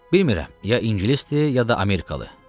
Bilmirem, ya ingilisdir, ya da Amerikalı.